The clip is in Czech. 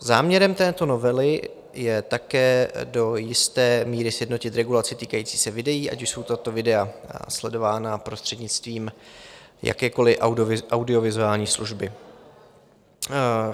Záměrem této novely je také do jisté míry sjednotit regulaci týkající se videí, ať už jsou tato videa sledována prostřednictvím jakékoli audiovizuální služby.